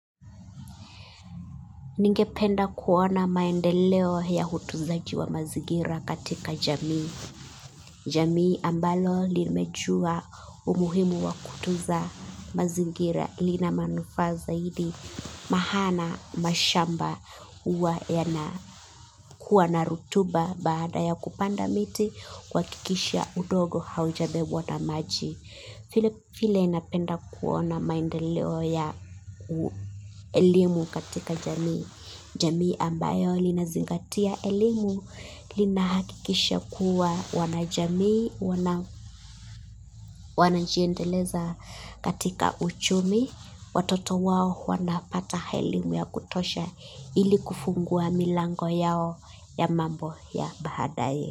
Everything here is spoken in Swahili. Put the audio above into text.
Ningependa kuona maendeleo ya utunzaji wa mazingira katika jamii. Jamii ambalo limejua umuhimu wa kutunza mazingira lina manufaa zaidi maana mashamba huwa yana kuwa na rotuba baada ya kupanda miti kuhakikisha udongo haujabebwa na maji. Viile vile napenda kuona maendeleo ya elimu katika jamii, jamii ambayo linazingatia elimu, lina hakikisha kuwa wanajamii, wanajiendeleza katika uchumi, watoto wao wanapata elimu ya kutosha ili kufungua milango yao ya mambo ya baadaye.